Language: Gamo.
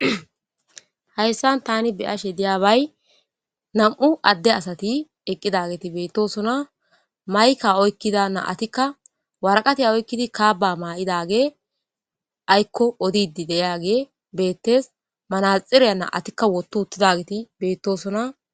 hayssan tani beyashe diyaabay nam7u adde asati eqqidageti beettosona mayka oykkida naatikka warqatiya oykkidi kaaba maa7idage aykko odidi deyage beettes manaxireya na atikka wottu uttidageti beettosona